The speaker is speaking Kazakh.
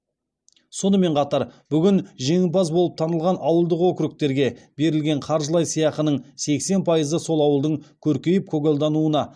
сонымен қатар бүгін жеңімпаз болып танылған ауылдық округтерге берілген қаржылай сыйақының сексен пайызы сол ауылдың көркейіп көгалдануына